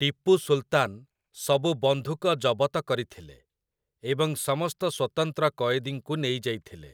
ଟିପୁ ସୁଲତାନ୍ ସବୁ ବନ୍ଧୁକ ଜବତ କରିଥିଲେ ଏବଂ ସମସ୍ତ ସ୍ୱତନ୍ତ୍ର କଏଦୀଙ୍କୁ ନେଇଯାଇଥିଲେ ।